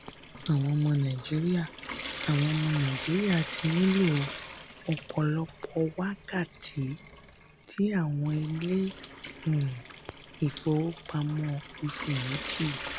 àwọn ọmọ nàìjíríà àwọn ọmọ nàìjíríà ti nílo ọ̀pọ̀lọpọ̀ wákàtí ní àwọn ilé um ìfowópamọ́ ọṣù méjì.